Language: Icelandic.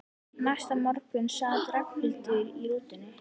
Næsta morgun sat Ragnhildur í rútunni.